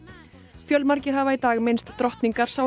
fjölmargir hafa í dag minnst drottningar